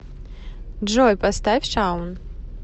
джой поставь шаун